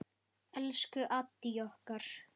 Elsku Addý okkar.